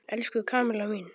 Elsku Kamilla mín!